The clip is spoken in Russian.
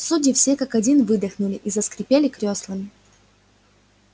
судьи все как один выдохнули и заскрипели крёслами